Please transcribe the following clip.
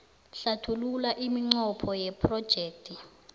hlathulula iminqopho yephrojekthi